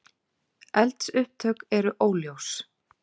Eldsupptök eru óljós